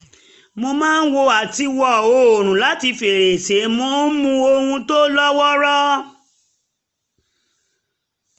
mo máa wo àtiwò́ oòrùn láti fèrèsé mo ń mu ohun tó lówóró